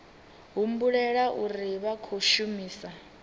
humbulela uri vha khou shumisa